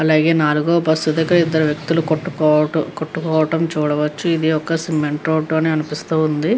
అలాగే నాలుగో బస్ దగ్గర ఇద్దరు వ్యక్తులు కొట్టుకోవటం కొట్టుకోవటం చూడవచ్చు. ఇది ఒక సిమెంట్ రోడ్డు అని అనిపిస్తుంది.